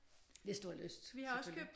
Hvis du har lyst selvfølgelig